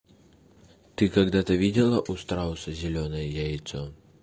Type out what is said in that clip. ты когда-то видела у страуса зелёное яйцо